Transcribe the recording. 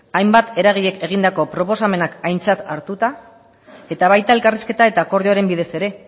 hainbat eragileek egindako proposamenak aintzat hartuta eta baita elkarrizketa eta akordioaren bidez ere